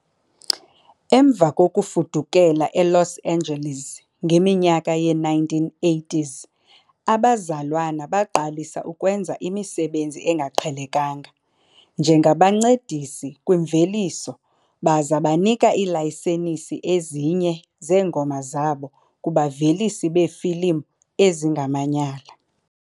Emva kokufudukela eLos Angeles ngeminyaka yee-1980s, abazalwana baqalisa ukwenza imisebenzi engaqhelekanga njengabancedisi kwimveliso baza banika iilayisensi ezinye zeengoma zabo kubavelisi beefilimu ezingamanyala.